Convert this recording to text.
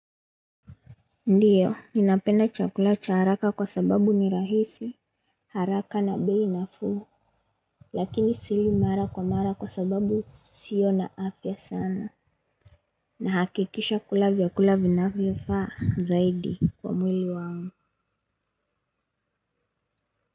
Ndiyo, ninapenda chakula cha haraka kwasababu ni rahisi, haraka na bei nafuu, lakini sili mara kwa mara kwa sababu sio na afya sana. Nahakikisha kula vyakula vinavyo faa zaidi kwa mwili wangu.